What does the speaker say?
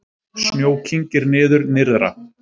Snjó kyngir niður nyrðra